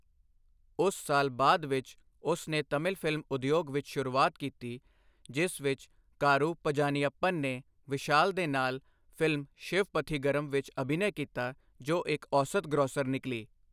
ਉਸ ਸਾਲ ਬਾਅਦ ਵਿੱਚ, ਉਸ ਨੇ ਤਮਿਲ ਫ਼ਿਲਮ ਉਦਯੋਗ ਵਿੱਚ ਸ਼ੁਰੂਆਤ ਕੀਤੀ, ਜਿਸ ਵਿੱਚ ਕਾਰੂ ਪਝਾਨੀਅੱਪਨ ਨੇ ਵਿਸ਼ਾਲ ਦੇ ਨਾਲ ਫ਼ਿਲਮ ਸ਼ਿਵਪੱਥੀਗਰਮ ਵਿੱਚ ਅਭਿਨੈ ਕੀਤਾ, ਜੋ ਇੱਕ ਔਸਤ ਗ੍ਰੋਸਰ ਨਿਕਲੀ।